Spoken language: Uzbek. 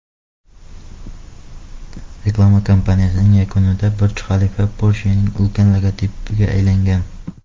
Reklama kampaniyasining yakunida Burj-Xalifa Porsche’ning ulkan logotipiga aylangan.